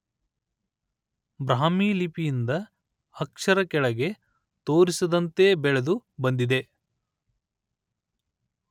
ಬ್ರಾಹ್ಮಿ ಲಿಪಿಯಿಂದ ಅಕ್ಷರ ಕೆಳೆಗೆ ತೋರಿಸಿದಂತೆ ಬೆಳೆದು ಬಂದಿದೆ